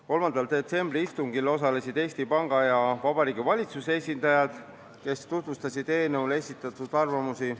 3. detsembri istungil osalesid Eesti Panga ja Vabariigi Valitsuse esindajad, kes tutvustasid eelnõu kohta esitatud arvamusi.